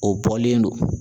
O bɔlen don.